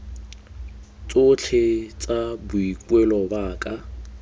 tsotlhe tsa boikuelo ba ka